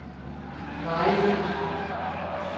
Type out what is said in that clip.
Mary Olsen